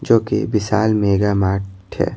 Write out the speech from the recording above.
जो कि Vishal mega mart है।